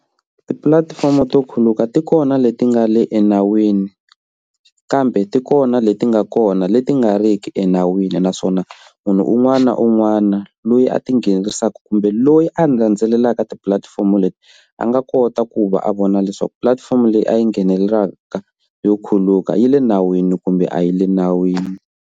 Tipulatifomo to khuluka ti kona leti nga le enawini kambe ti kona leti nga kona leti nga ri ki enawini naswona munhu un'wana na un'wana loyi a tinghenisaka kumbe loyi a landzelelaka tipulatifomo leti a nga kota ku va a vona leswaku pulatifomo leyi a yi nghenelelaka yo khuluka yi le nawini kumbe a yi le nawini.